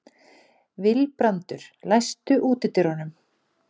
Vilbrandur, læstu útidyrunum.